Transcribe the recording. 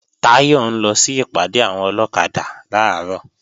Táyọ̀ ń lọ sí ìpàdé àwọn ọlọ́kadà làárọ̀